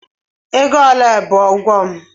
Ego ole bụ ụgwọ m?